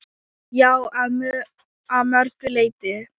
Já, að mörgu leyti.